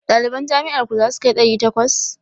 Ɗaliban jami'ar ku zasu kai ɗari takwas?